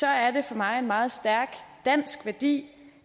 er det for mig en meget stærk dansk værdi